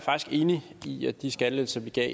enig i at de skattelettelser vi gav